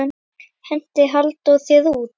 Henti Halldór þér út?